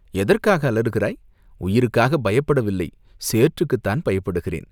"எதற்காக அலறுகிறாய்?" "உயிருக்காகப் பயப்படவில்லை, சேற்றுக்குத்தான் பயப்படுகிறேன்!